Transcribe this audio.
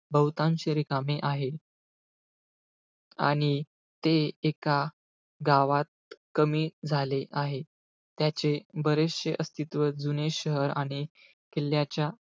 बहुतांशी रिकामे आहे. आणि ते एका गावात कमी झाले आहे. त्याचे बरेचशे अस्तित्व जुने शहर आणि किल्ल्याच्या,